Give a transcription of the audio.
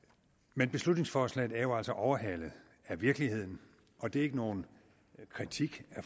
men beslutningsforslaget er jo altså overhalet af virkeligheden og det er ikke nogen kritik af